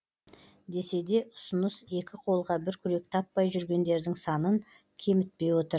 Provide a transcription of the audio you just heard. десе де ұсыныс екі қолға бір күрек таппай жүргендердің санын кемітпей отыр